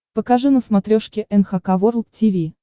покажи на смотрешке эн эйч кей волд ти ви